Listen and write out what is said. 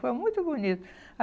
Foi muito bonito.